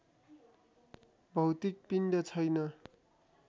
भौतिक पिण्ड छैन